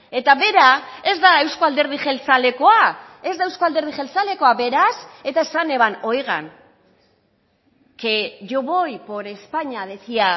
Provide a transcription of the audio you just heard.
eta bera ez da euzko alderdi jeltzalekoa ez da euzko alderdi jeltzalekoa beraz eta esan eban oigan que yo voy por españa decía